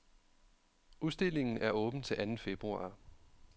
Udstillingen er åben til anden februar.